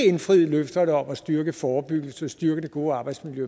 indfriet løfterne om at styrke forebyggelsen styrke det gode arbejdsmiljø